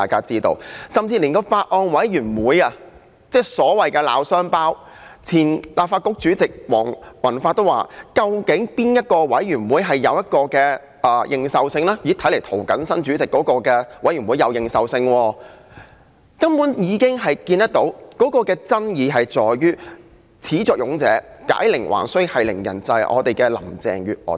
即使是法案委員會，雖然出現所謂的鬧雙胞，但前立法局主席黃宏發也認為較有認受性的是涂謹申議員任主席的法案委員會，由此可見爭議在於始作俑者、解鈴還需繫鈴人的特首林鄭月娥。